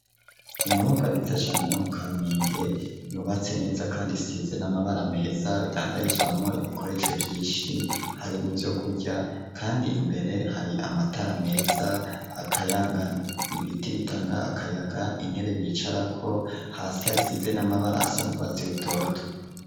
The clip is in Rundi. Inyubako nziza cane, yo mu kamenge yubatse neza ,kandi isize n'amabara meza ,idandarizwamwo ibikoresho vyinshi ,harimwo vyo kurya, kandi imbere hari amatara meza akayangana, ibiti bitanga akayaga ,intebe bicarako ,hasi hasize n'amabara asa n'urwasi rutoto.